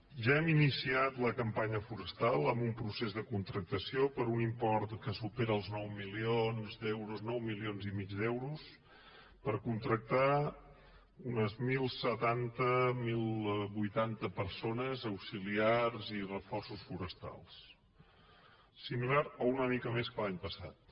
ja hem iniciat la campanya forestal amb un procés de contractació per un import que supera els nou milions d’euros nou coma cinc milions d’euros per contractar unes mil setanta mil vuitanta persones auxiliars i reforços forestals similar a una mica més que l’any passat